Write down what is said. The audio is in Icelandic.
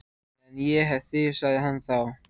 Meðan ég hef þig sagði hann þá.